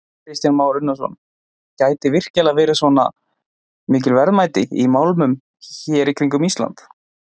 Kristján Már Unnarsson: Gætu virkilega verið svona mikil verðmæti í málmum hér í kringum Ísland?